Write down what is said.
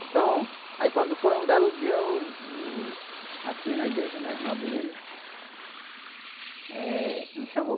Então, aí quando foi um belo dia, eu, eu... Aqui na igreja, né, a irmã, eh, me chamou.